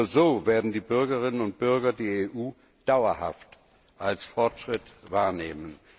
Nur so werden die Bürgerinnen und Bürger die EU dauerhaft als Fortschritt wahrnehmen.